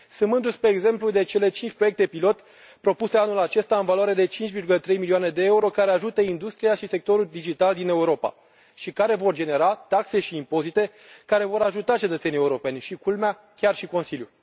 Sunt mândru, spre exemplu, de cele cinci proiecte pilot propuse anul acesta, în valoare de 5,3 milioane de euro, care ajută industria și sectorul digital din Europa, și care vor genera taxe și impozite care vor ajuta cetățenii europeni și, culmea, chiar și Consiliul.